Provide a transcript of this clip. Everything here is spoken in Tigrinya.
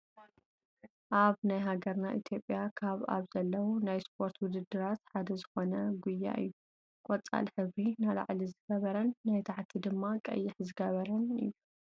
ኣበ ናይ ሃገርና ኢትዮጵያ ካብ ኣብ ዘለው ናይ ስፖርት ውድድራት ሓደ ዝኮነ ጉያ እዩ። ቆፃል ሕብሪ ናላዕሊ ዝገበረን ናይ ታሕቲ ድማ ቀይሕ ዝገበረ እዩ።